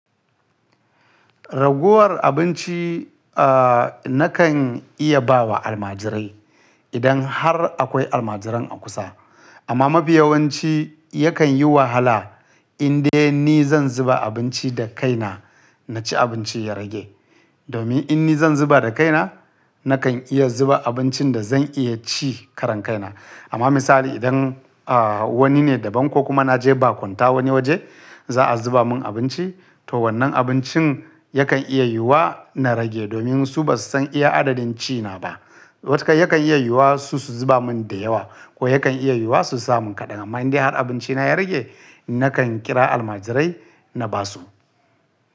Raguwar abinci, ah, nakan iya ba wa almajirai idan har akwai almajiran a kusa. Amma mafiyawanci yakan yi wahala indai ni zan zuba abinci da kaina na ci abinci ya rage. Domin in ni zan zuba da kaina, nakan iya zuba abincin da zan iya ci karan kaina. Amma misali idan, ah, wani ne da ban ko kuma na je bakunta wani waje za a zuba mun abinci, to wannan abincin yakan iya yiwuwa na rage domin su ba su san iya adadin ci na ba. Wataka yakan iya yiwuwa su su zuba mun da yawa ko yakan iya yiwuwa su sa mun kaɗan. Amma indai har abinci na ya rage, nakan kira almajirai na ba su.